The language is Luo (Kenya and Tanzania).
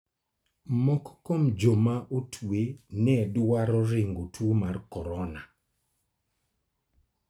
Moko kuom joma otwe ne dwaro ringo tuo mar corona.